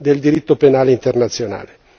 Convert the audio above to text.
del diritto penale internazionale.